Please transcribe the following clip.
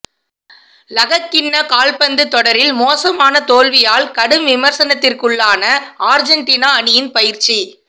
லகக்கிண்ண கால்பந்து தொடரில் மோசமான தோல்வியால் கடும் விமர்சனத்துக்குள்ளான ஆர்ஜென்டினா அணியின் பயிற்சி